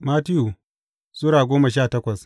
Mattiyu Sura goma sha takwas